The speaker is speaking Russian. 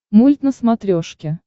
мульт на смотрешке